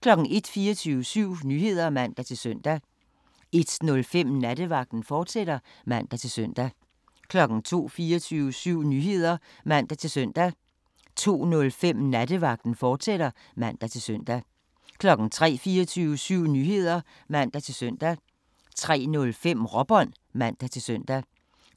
01:00: 24syv Nyheder (man-søn) 01:05: Nattevagten, fortsat (man-søn) 02:00: 24syv Nyheder (man-søn) 02:05: Nattevagten, fortsat (man-søn) 03:00: 24syv Nyheder (man-søn) 03:05: Råbånd (man-søn) 04:00: